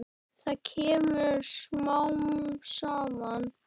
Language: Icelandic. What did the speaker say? Það kemur smám saman.